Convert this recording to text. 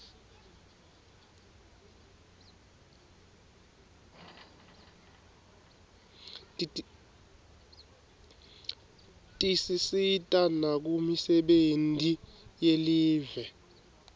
tisisita nakumisebenti yelive